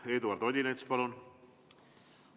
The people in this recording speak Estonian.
Eduard Odinets, palun!